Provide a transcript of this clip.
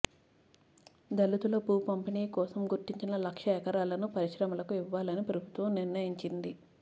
దళితుల భూ పంపిణీ కోసం గుర్తించిన లక్ష ఎకరాలను పరిశ్రమలకు ఇవ్వాలని ప్రభుత్వం నిర్ణయించింది